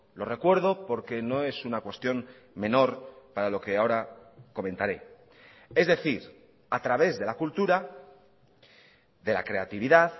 lo recuerdo porque no es una cuestión menor para lo que ahora comentaré es decir a través de la cultura de la creatividad